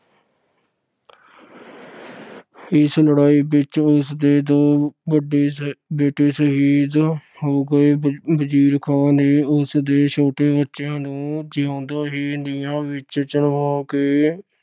ਇਸ ਲੜਾਈ ਵਿੱਚ ਉਸ ਦੇ ਦੋ ਵੱਡੇ ਸਾਹਿਬ ਅਹ ਬੇਟੇ ਸ਼ਹੀਦ ਹੋ ਗਏ। ਵਜੀਰ ਖਾਨ ਨੇ ਉਸ ਦੇ ਛੋਟੇ ਬੱਚਿਆਂ ਨੂੰ ਜਿਉਂਦਿਆਂ ਹੀ ਨੀਹਾਂ ਵਿੱਚ ਚਿਣਵਾ ਕੇ